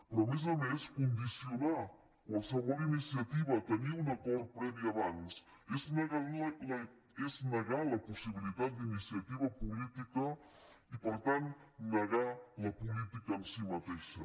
però a més a més condicionar qualsevol iniciativa a tenir un acord previ abans és negar la possibilitat d’iniciativa política i per tant negar la política en si mateixa